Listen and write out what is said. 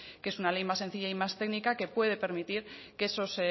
que es una ley más sencilla y más técnica que puede permitir que esos